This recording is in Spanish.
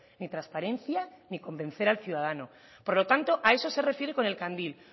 ni transparencia ni convencer al ciudadano por lo tanto a eso se refiere con el candil